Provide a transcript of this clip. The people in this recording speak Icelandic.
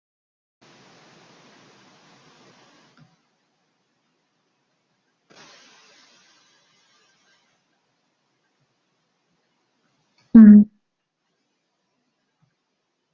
Þannig gekk þetta í næstum því heilan vetur.